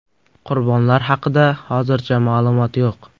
Qurbonlar haqida hozircha ma’lumot yo‘q.